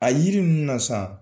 A yiri ninnu na san